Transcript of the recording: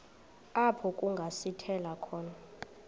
apho kungasithela khona